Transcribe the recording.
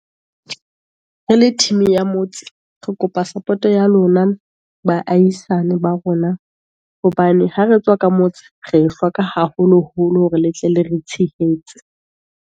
Re le team ya motse, re kopa support ya lona baahisane ba rona, hobane ha re tswa ka motse, re le hloka haholo-holo hore le tle le re tshehetse.